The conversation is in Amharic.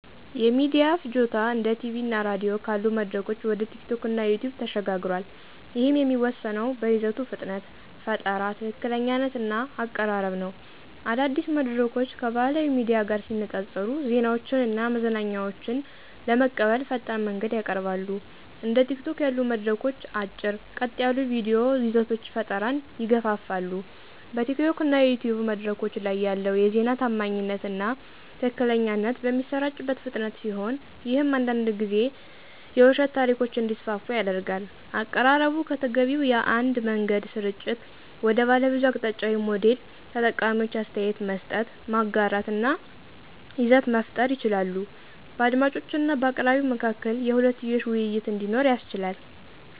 የሚዲያ ፍጆታ እንደ ቲቪ እና ራዲዮ ካሉ መድረኮች ወደ ቲኪቶክ እና ዩቲዩብ ተሸጋግሯል፤ ይህም የሚወሰነው በይዘቱ ፍጥነት፣ ፈጠራ፣ ትክክለኛነት እና አቀራረብ ነው። አዳዲስ መድረኮች ከባህላዊ ሚዲያ ጋር ሲነፃፀሩ ዜናዎችን እና መዝናኛዎችን ለመቀበል ፈጣን መንገድን ያቀርባሉ። እንደ ቲኪቶክ ያሉ መድረኮች አጭር፣ ቀጥ ያሉ የቪዲዮ ይዘቶች ፈጠራን ይገፋፋሉ። በቲኪቶክ እና ዩቲዩብ መድረኮች ላይ ያለው የዜና ታማኝነት እና ትክክለኛነት በሚሰራጭበት ፍጥነት ሲሆን ይህም አንዳንድ ጊዜ የውሸት ታሪኮች እንዲስፋፉ ያደርጋል። አቀራረቡ ከተገቢው የአንድ መንገድ ስርጭት ወደ ባለብዙ አቅጣጫዊ ሞዴል ተጠቃሚዎች አስተያየት መስጠት፣ ማጋራት እና ይዘት መፍጠር ይችላሉ። በአድማጮች እና በአቅራቢው መካከል የሁለትዮሽ ውይይት እንዲኖር ያስችላል።